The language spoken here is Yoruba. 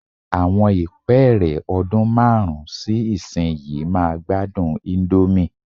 Àwọn ìpẹ́ẹ́rẹ́ ọdún márùn-ún sí ìsinyìí máa gbádùn íńdómì.